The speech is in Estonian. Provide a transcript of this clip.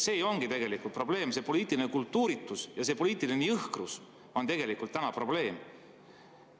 See ongi tegelikult probleem, see poliitiline kultuuritus ja poliitiline jõhkrus on tegelikult täna probleem.